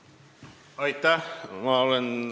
Aitäh!